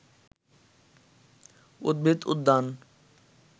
উদ্ভিদ উদ্যান